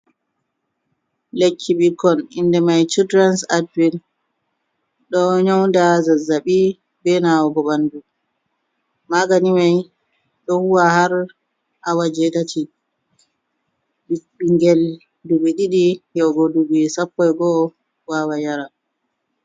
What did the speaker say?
Lekki ɓikkon inde mai childrens atven ɗo nyauda zazzaɓi be nawugo ɓandu. Magani mai ɗo huwa har awa jetati. Ɓingel duɓi ɗiɗi yahugo duɓi sappoi go'o wawan yara.